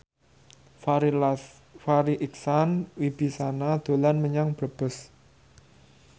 Farri Icksan Wibisana dolan menyang Brebes